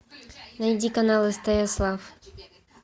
найди канал стс лав